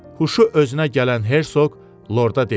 Huşu özünə gələn Herşoq Lorda dedi.